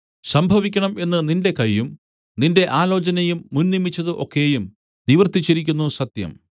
സംഭവിക്കണം എന്ന് നിന്റെ കയ്യും നിന്റെ ആലോചനയും മുന്നിയമിച്ചത് ഒക്കെയും നിവർത്തിച്ചിരിക്കുന്നു സത്യം